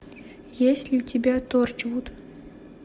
есть ли у тебя торчвуд